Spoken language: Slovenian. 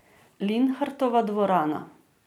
Linhartova dvorana.